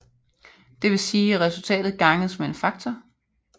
Det vil sige at resultatet ganges med en faktor